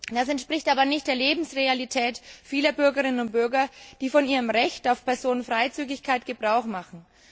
Das entspricht aber nicht der Lebensrealität vieler Bürgerinnen und Bürger, die von ihrem Recht auf Personenfreizügigkeit Gebrauch machen.